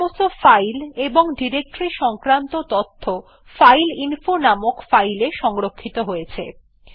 এখন সমস্ত ফাইল এবং ডিরেক্টরী সংক্রান্ত তথ্য ফাইল ফাইলইনফো নামক ফাইল এ সংরক্ষিত হয়েছে